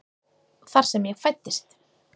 Þar sem ég fæddist.